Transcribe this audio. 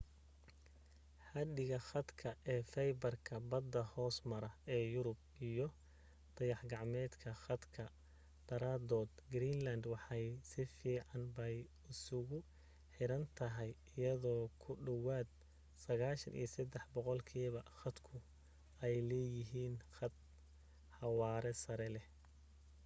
xadhiga khadka ee faybarka badda hoos mara ee yurub iyo dayaxgacmeedka khadka daraadood greenland waxay si fiican bay isugu xiran tahay iyadoo ku dhawaad 93% dadku ay leeyihiin khad xawaare sare leh